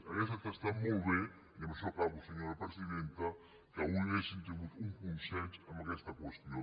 hauria estat molt bé i amb això acabo senyora presidenta que avui haguéssim tingut un consens en aquesta qüestió